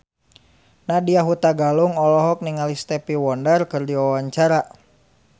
Nadya Hutagalung olohok ningali Stevie Wonder keur diwawancara